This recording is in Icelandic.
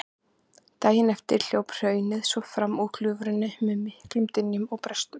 Daginn eftir hljóp hraunið svo fram úr gljúfrinu með miklum dynkjum og brestum.